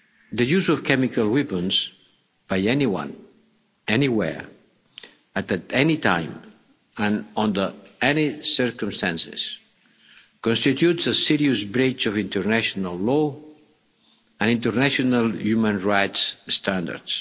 Mr Navalny. The use of chemical weapons by anyone, anywhere, and at any time and under any circumstances constitutes a serious breach of international law and international human rights